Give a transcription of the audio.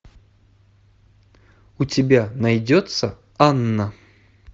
у тебя найдется анна